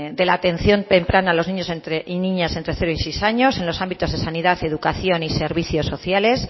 de la atención temprana a los niños y niñas entre cero y seis años en los ámbitos de sanidad educación y servicios sociales